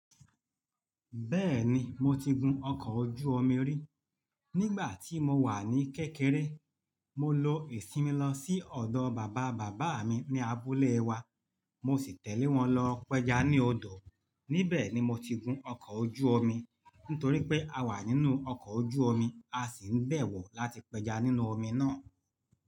Bẹ́ẹ̀ ni, mo ti gun ọkọ̀ ojú-omi rí. Nígbà tí mo wà ní kékeré, mo lọ ìsinmi lọ sí ọ̀dọ̀ bàbá bàbá mi ní abúlé wa, mo sì tẹ̀lé wọn lọ pẹja ní odò. Nibẹ̀ ni mo ti gun ọkọ̀ ojú omi, nítorí pé a wà nínú ọkọ̀ ojú omi, a sì ń gbẹ̀wọ̀ láti pẹja nínú omi náà.